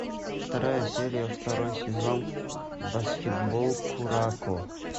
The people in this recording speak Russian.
вторая серия второй сезон баскетбол куроко